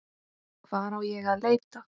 Hvar á ég að leita.